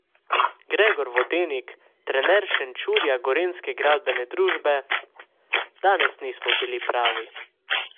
Gregor Vodenik, trener Šenčurja Gorenjske gradbene družbe: "Danes nismo bilo pravi.